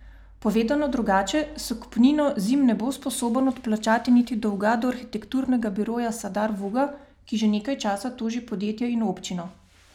Povedano drugače, s kupnino Zim ne bo sposoben odplačati niti dolga do arhitekturnega biroja Sadar Vuga, ki že nekaj časa toži podjetje in občino.